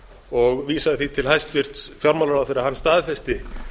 og vísaði því til hæstvirts fjármálaráðherra að hann staðfesti